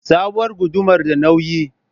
Sabuwar gudumar da nauyi?